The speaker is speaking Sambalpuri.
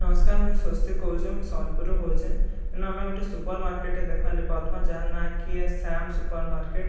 ନମସ୍କାର ମୁଇଁ ସ୍ୱସ୍ତିକ କହୁଁଛେ ମୁଇଁ ସମ୍ବଲପୁର ରୁ କହୁଁଛେ ଇନୁ ଆମେ ଗୁଟେ ସୁପର ମାର୍କେଟ ଟେ ଦେଖବାର ଲାଗି ପାଉଥିମାଁ ଯାହାର ନା କି ଏ ଶ୍ୟାମ ସୁପର ମାର୍କେଟ --